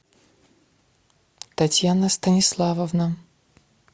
татьяна станиславовна